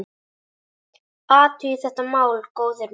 Athugið þetta mál, góðir menn!